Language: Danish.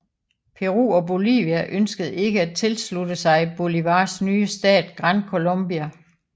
Peru og Bolivia ønskede ikke at tilslutte sig Bolívars nye stat Gran Colombia